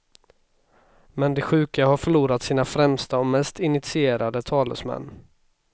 Men de sjuka har förlorat sina främsta och mest initierade talesmän.